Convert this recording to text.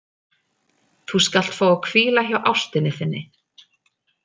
Þú skalt fá að hvíla hjá ástinni þinni.